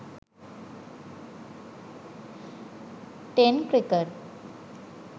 ten cricket